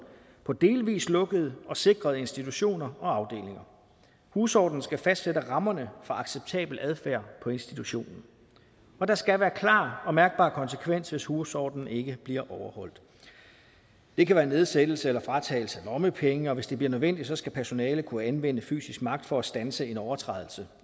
på delvis lukkede og sikrede institutioner og afdelinger husordenen skal fastsætte rammerne for acceptabel adfærd på institutionen og der skal være klar og mærkbar konsekvens hvis husordenen ikke bliver overholdt det kan være nedsættelse og fratagelse af lommepenge og hvis det bliver nødvendigt skal personalet kunne anvende fysisk magt for at standse en overtrædelse